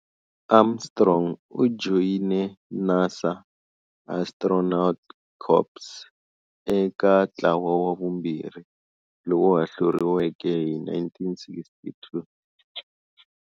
Armstrong u joyine NASA Astronaut Corps eka ntlawa wa vumbirhi, lowu hahluriweke hi 1962.